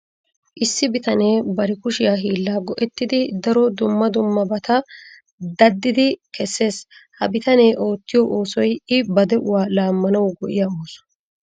Issi bitane bari kushiya hiillaa go'ettidi daro dumma dummabata daddidi kessees. Ha bitanee oottiyo oosoy I ba de'uwa laammanwu go'iya ooso.